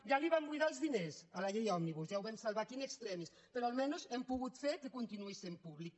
ja en van buidar els diners a la llei òmnibus ja ho vam salvar aquí in extremisalmenys hem pogut fer que continuï sent pública